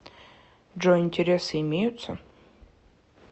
джой интересы имеются